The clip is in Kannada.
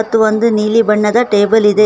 ತ್ತು ಒಂದು ನೀಲಿ ಬಣ್ಣದ ಟೇಬಲ್ ಇದೆ.